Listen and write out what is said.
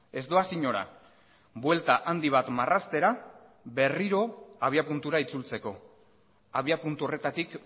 ez doaz inora buelta handi bat marraztera berriro abiapuntura itzultzeko abiapuntu horretatik